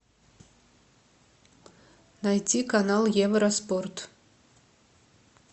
найти канал евроспорт